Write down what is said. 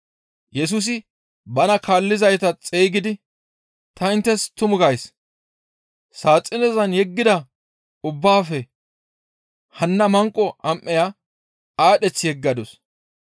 Yesusi bana kaallizayta xeygidi, «Ta inttes tumu gays; saaxinezan yeggida ubbaafe hanna manqo am7eya aadheth yeggadus.